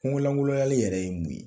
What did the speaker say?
Kungo langolonyali yɛrɛ ye mun ye